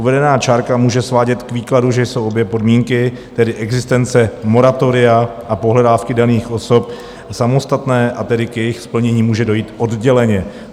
Uvedená čárka může svádět k výkladu, že jsou obě podmínky, tedy existence moratoria a pohledávky daných osob, samostatné, a tedy k jejich splnění může dojít odděleně.